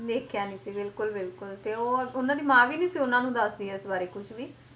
ਦੇਖਿਆ ਨੀ ਸੀ ਬਿਲਕੁਲ ਬਿਲਕੁਲ ਤੇ ਉਹ ਉਹਨਾਂ ਦੀ ਮਾਂ ਵੀ ਨੀ ਸੀ ਉਹਨਾਂ ਨੂੰ ਦੱਸਦੀ ਇਸ ਬਾਰੇ ਕੁਛ ਵੀ,